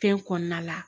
Fɛn kɔnɔna la